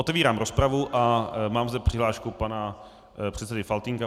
Otvírám rozpravu a mám zde přihlášku pana předsedy Faltýnka.